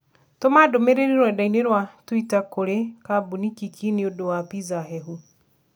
Tũma ndũmĩrĩri rũrenda-inī rũa tũitakũrĩĩ kambuni Kiki niũndũ wa pizza hehu